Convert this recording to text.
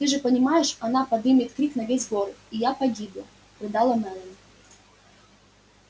ты же понимаешь она подымет крик на весь город и я погибла рыдала мелани